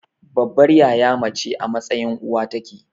Babbar yaya mace a mtsayin uwa take.